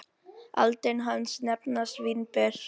Aldin hans nefnast vínber.